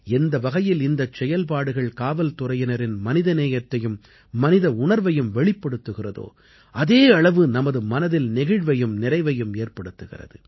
எந்த வகையில் இந்தச் செயல்பாடுகள் காவல்துறையினரின் மனிதநேயத்தையும் மனித உணர்வையும் வெளிப்படுத்துகிறதோ அதே அளவு நமது மனதில் நெகிழ்வையும் நிறைவையும் ஏற்படுத்துகிறது